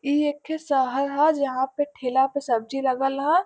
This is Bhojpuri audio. एक थे शहर ह जहा पे ठेला पे सब्जी लगल ह ।